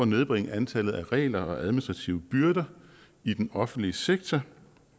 nedbringe antallet af regler og administrative byrder i den offentlige sektor